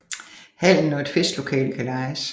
Hallen og et festlokale kan lejes